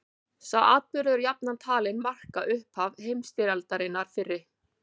Sá atburður er jafnan talinn marka upphaf heimsstyrjaldarinnar fyrri.